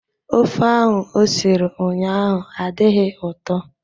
Ofe ahụ o siri ụnyahụ adịghị ụtọ.